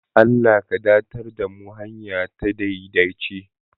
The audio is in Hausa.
Allah ka darar da mu hanya ta daidaci